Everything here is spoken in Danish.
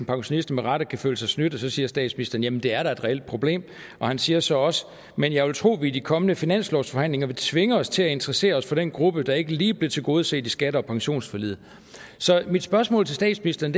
pensionister med rette kan føle sig snydt og så siger statsministeren jamen det er da et reelt problem han siger så også men jeg vil tro at vi i kommende finanslovsforhandlinger vil tvinge os til at interessere os for den gruppe der ikke lige blev tilgodeset i skatte og pensionsforliget så mit spørgsmål til statsministeren